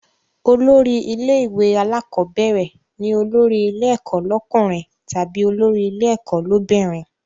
Olórí ilé ìwé alákọ́bẹ̀rẹ̀ ni olórí ilé ẹ̀kọ́ lọ́kùnrin tàbí olórí ilé ẹ̀kọ́ l'óbìnrin